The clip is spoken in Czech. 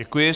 Děkuji.